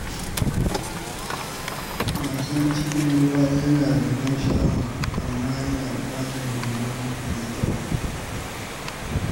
Wasan cikn ruwa yana da ban sha’awa, amma yana buƙatar horo mai kyau.